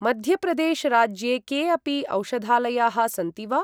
मध्यप्रदेश राज्ये के अपि औषधालयाः सन्ति वा?